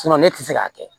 ne tɛ se k'a kɛ